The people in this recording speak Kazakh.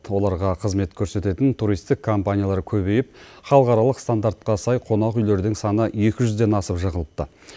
оларға қызмет көрсететін туристік компаниялар көбейіп халықаралық стандартқа сай қонақүйлердің саны екі жүзден асып жығылыпты